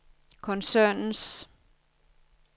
koncernens